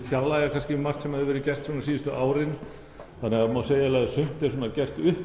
fjarlægja margt sem hafði verið gert síðustu árin það má segja að sumt er gert upp